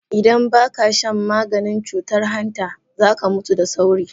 Idan ba ka shan maganin cutar hanta, za ka mutu da sauri.